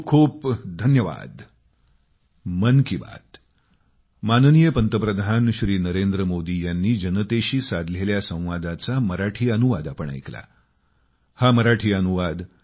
खूप खूप धन्यवाद